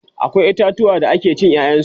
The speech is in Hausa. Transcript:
akwai itatuwa da ake cin ƴaƴan su